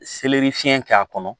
fiɲɛ k'a kɔnɔ